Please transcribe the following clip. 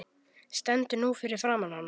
Stend nú fyrir framan hana.